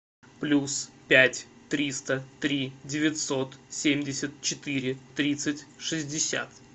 плюс пять триста три девятьсот семьдесят четыре тридцать шестьдесят